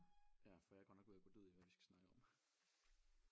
Ja for jeg er godt nok ved at gå død i hvad vi skal snakke om